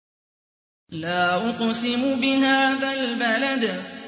لَا أُقْسِمُ بِهَٰذَا الْبَلَدِ